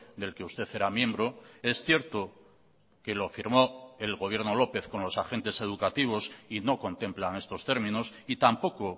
del que usted era miembro es cierto que lo firmó el gobierno lópez con los agentes educativos y no contemplan estos términos y tampoco